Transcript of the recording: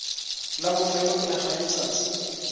la bofelo pele ga letsatsi